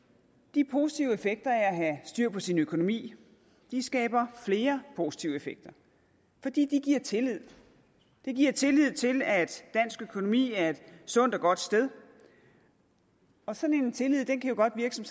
de positive effekter af at have styr på sin økonomi skaber flere positive effekter fordi de giver tillid det giver tillid til at dansk økonomi er et sundt og godt sted sådan en tillid kan godt virke som